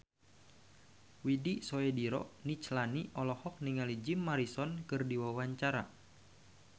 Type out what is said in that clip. Widy Soediro Nichlany olohok ningali Jim Morrison keur diwawancara